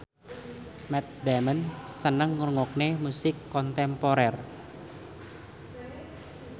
Matt Damon seneng ngrungokne musik kontemporer